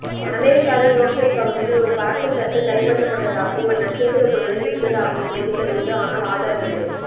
அமெரிக்காவின் ரோஸ்வெல் பகுதியில் ஒரு பறக்கும் தட்டு கைபற்றபட்டதாகவும் ஒரு நட்சத்திர குள்ளனை பிடித்ததாகவும் செய்திகள் உண்டு ஆனால் ஆதாரமில்லை